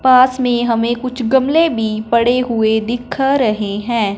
पास में हमें कुछ गमले भी पड़े हुए दिख रहे हैं।